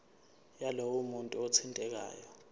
yalowo muntu othintekayo